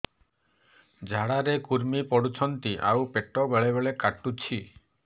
ଝାଡା ରେ କୁର୍ମି ପଡୁଛନ୍ତି ଆଉ ପେଟ ବେଳେ ବେଳେ କାଟୁଛି